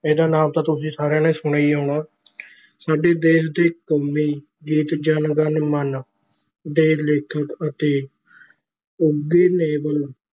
ਇਹਦਾ ਨਾਮ ਤਾਂ ਤੁਸੀਂ ਸਾਰਿਆਂ ਨੇ ਸੁਣਿਆ ਹੀ ਹੋਣਾ ਸਾਡੇ ਦੇਸ ਦੇ ਕੋਮੀ ਗੀਤ ਜਨ ਗਣ ਮਨ ਦੇ ਲੇਖਕ ਅਤੇ ਉੱਗੇੇ ਨੋਬਲ